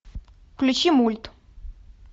включи мульт